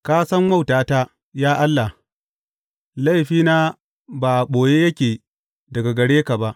Ka san wautata, ya Allah; laifina ba a ɓoye yake daga gare ka ba.